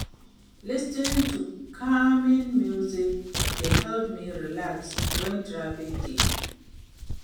Lis ten ing to calming music dey help me relax wen traffic dey.